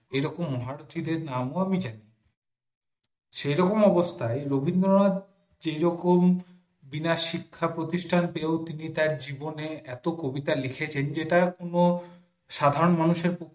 এরকম মহারথী দেড় নাম অনুযায়ী সেরকম অবস্থায় রবীন্দ্রনাথ যে রকম বিনা শিক্ষা প্রতিষ্টান পেয়েও তার জীবনে এত কবিতা লিখেছেন যেটা কোনো সাধারণ মানুষের পক্ষে